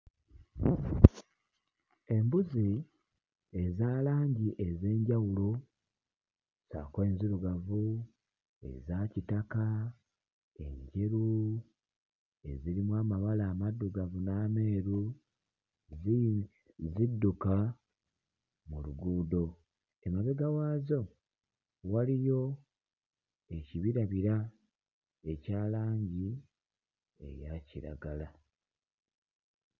Embuzi eza langi ez'enjawulo ssaako enzirugavu, eza kitaka, enjeru, ezirimu amabala amaddugavu n'ameeru ziri... zidduka mu luguudo. Emabega waazo waliyo ekibirabira ekya langi eya kiragala.